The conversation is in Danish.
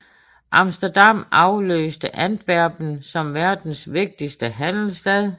Amsterdam afløste Antwerpen som verdens vigtigste handelsstad